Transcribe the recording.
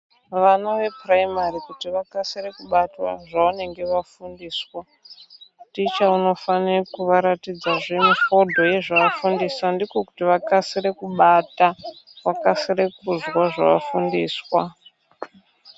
Vana vepuramairi kuti vakasire kubata zvevanenge vafundiswa, ticha unofanira kuvaratidza zve mifodho yezvavafundiswa. Ndiko kuti vakasire kubata. Vakasire kuzwa zvavafundiswa.